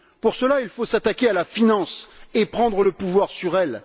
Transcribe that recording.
Pour cela, il faut s'attaquer à la finance et prendre le pouvoir sur elle.